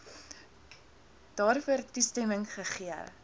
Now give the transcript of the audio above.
daarvoor toestemming gegee